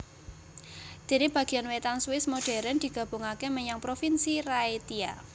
Dene bagian wetan Swiss modern digabungake menyang Provinsi Raetia